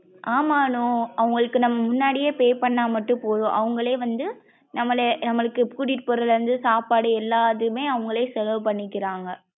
ஆமா அனு. அவுங்களுக்கு நாம முன்னாடியே pay பண்ணா மட்டும் போதும் அவுங்களே வந்து நம்மள நம்மள்ளுக்கு கூட்டிட்டு போறதுல இருந்து சாப்பாடு எல்லாதுமே அவுங்களே செலவு பண்ணிக்குறாங்க.